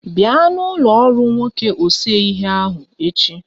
Bịa na ụlọ ọrụ nwoke ose ihe ahụ echi.